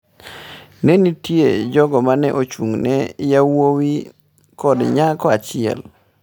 """Ne nitie jogo ma ne ochung'ne, yawuowi kod nyako achiel."